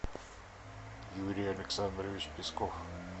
юрий александрович песков